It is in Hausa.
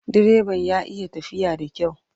Direban ya iya tafiya da kyau.